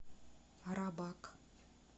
рабак